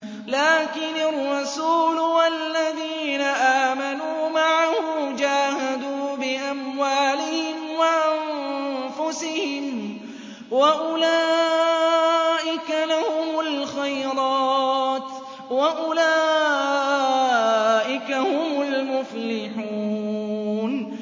لَٰكِنِ الرَّسُولُ وَالَّذِينَ آمَنُوا مَعَهُ جَاهَدُوا بِأَمْوَالِهِمْ وَأَنفُسِهِمْ ۚ وَأُولَٰئِكَ لَهُمُ الْخَيْرَاتُ ۖ وَأُولَٰئِكَ هُمُ الْمُفْلِحُونَ